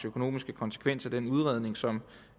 økonomiske konsekvenser altså den udredning som